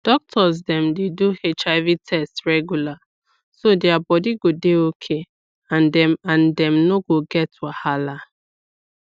doctors dem dey do hiv test regular so their body go dey okay and dem and dem no go get wahala